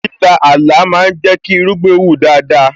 Líla Ààlà ma ń jẹ́ kí irúgbìn wù dáadáa